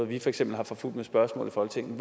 vi for eksempel har forfulgt med spørgsmål i folketinget